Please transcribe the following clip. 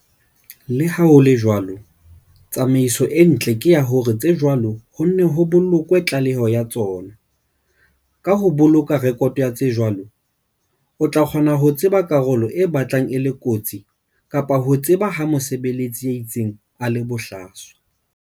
Le ha ho le jwalo, tsamaiso e ntle ke ya hore tse jwalo ho nne ho bolokwe tlaleho ya tsona, Ka ho boloka rekoto ya tse jwalo, o tla kgona ho tseba karolo e batlang e le kotsi kapa ho tseba ha mosebeletsi ya itseng a le bohlaswa.